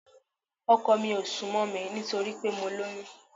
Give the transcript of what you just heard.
Ọkọ mi ò ń sún mọ́ mi nítorí pé mo lóyún